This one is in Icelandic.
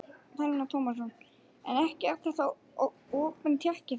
Telma Tómasson: En ekki er þetta opin tékki þá?